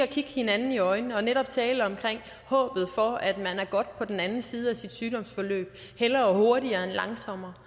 kigger hinanden i øjnene og netop taler om håbet for at man er godt på den anden side af sit sygdomsforløb hellere hurtigere end langsommere